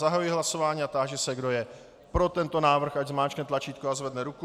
Zahajuji hlasování a táži se, kdo je pro tento návrh, ať zmáčkne tlačítko a zvedne ruku.